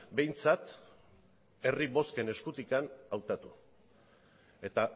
behintzat herri bozken eskutik hautatu eta